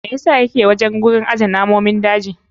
Me yasa yake wajen gurin aje namomin daji?